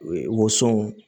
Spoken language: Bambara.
Woson